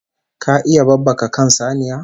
Ka iya babbaka kan saniya??